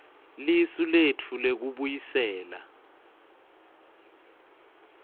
lisu letfu lekubuyisela